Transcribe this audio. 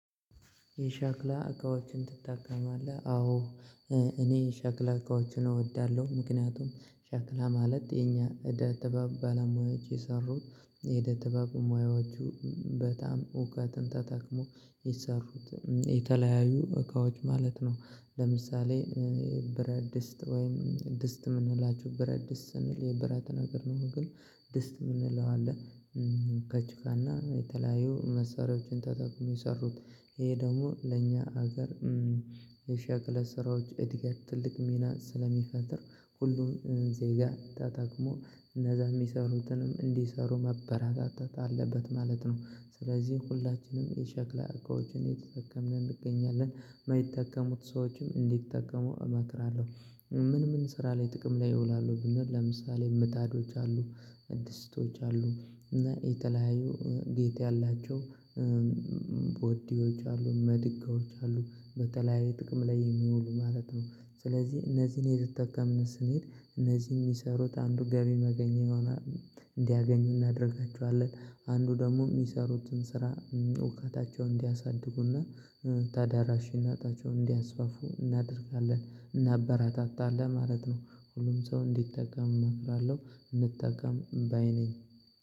የሸክላ እቃዎችን ትጠቀማለህ? አዎ እኔ የሸክላ እቃዎችን እወዳለሁ። ምክንያቱም ሸክላ ማለት የኛ እደ ጥበብ ባለሙያዎች የሰሩት እደ ጥበብ ሙያዎቹ በጣም እውቀትን ተጠቅሞ የሰሩት የተለያዩ እቃዎች ማለት ነው። ለምሳሌ ብረት ድስት ወይም ድስት የምንላችው ብረት ድስት ስንል የብረት ነገር ነው። ግን ድስት የምንለው አለ ከጭቃና የተለያዩ መሳሪያዎችን ተጠቅመው የሰሩት። ይሄ ደግሞ ለእኛ ሀገር የሸክላ ስራዎች እድገት ትልቅ ሚና ስለሚፈጥር ሁሉም ዜጋ ተጠቅሞ እነዛ የሚሰሩትን እንዲሰሩ መበራራት አለበት ማለት ነው። ስለዚህ ሁላችንም የሸክላ እቃዎችን የተጠቀምን እንገኛለን። የማይጠቀሙ ሰዎችም እንዲጠቀሙ እመክራለሁ። ምን ምን ስራ ላይ ጥቅም ላይ ይውላሉ ብንል ለምሳሌ ምጣዶች አሉ ድስቶች አሉ እና የተለያዩ ጌጥ ያላቸው ወዲዎች አሉ፥ መድጋዎች አሉ በተለያዩ ጥቅም ላይ የሚውሉ ማለት ነው። ስለዚህ እነዚህን የተጠቀምን ስንሄድ እነዚህ የሚሰሩት አንዱ ገቢ ማግኝኚያ ይሆናል እንዲያገኙ እናደርጋቸዋለን፥ አንዱ ደግሞ የሚሰሩትን ስራ እውቀታቸውን እንዲያሳድጉና ተደራሽነታቸውን እንዲያስፋፉ እናደርጋለን እናበራታታለን ማለት ነው። ሁሉም ሰው እንዲጠቀም እመክራለሁ እንጠቀም ባይ ነኝ።